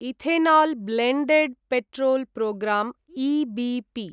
ethanol blended petrol programme EBP